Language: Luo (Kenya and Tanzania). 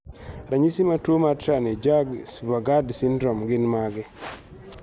Ranyisi mag tuwo mar Tranebjaerg Svejgaard syndrome gin mage?